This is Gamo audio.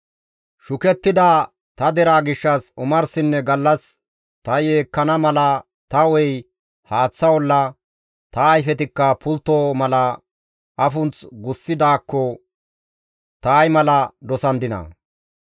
Shukettida ta deraa gishshas omarsinne gallas ta yeekkana mala ta hu7ey haaththa olla, ta ayfetikka pultto mala afunth gogissidaakko ta ay mala dosandinaa!